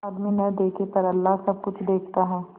आदमी न देखे पर अल्लाह सब कुछ देखता है